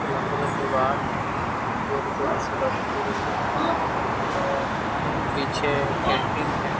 लंबे-लंबे बाल है गोरी गोरी सी लड़की है और पीछे पेंटिंग है।